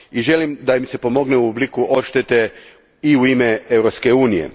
Želim da im se pomogne u obliku odštete i u ime Europske unije.